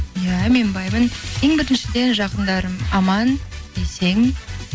иә мен баймын ең біріншіден жақындарым аман есен